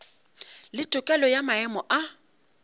le tokelo ya maemo a